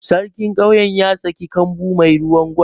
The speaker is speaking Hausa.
Sarkin ƙauyen ya saka kambu mai ruwan Gwal.